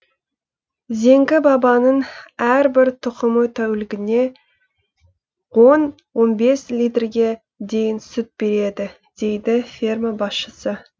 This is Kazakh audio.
зеңгі бабаның әрбір тұқымы тәулігіне он он бес литрге дейін сүт береді дейді ферма басшысы